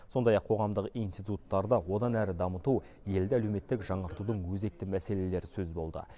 сондай ақ қоғамдық институттарды одан әрі дамыту елді әлеуметтік жаңғыртудың өзекті мәселелері сөз болды